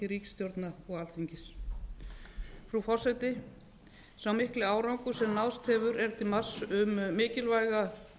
ríkisstjórna og alþingis frú forseti sá mikli árangur sem náðst hefur er til marks um mikilvæga